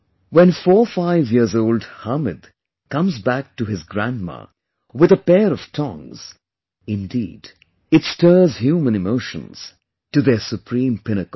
When 45 years old Hamid comes back to his grandma with a pair of tongs, indeed, it stirs human emotions to their supreme pinnacle